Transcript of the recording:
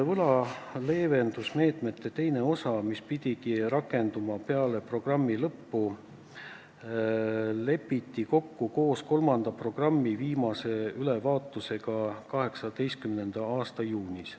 Võla leevendamise meetmete teine etapp, mis pidigi algama peale programmi lõppu, lepiti kokku koos kolmanda programmi viimase ülevaatusega 2018. aasta juunis.